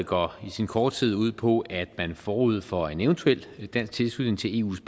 går i sin korthed ud på at man forud for en eventuel dansk tilslutning til eus